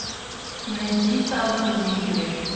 найди танго либре